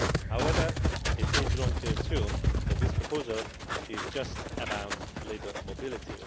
However, it is wrong to assume that this proposal is just about labour mobility.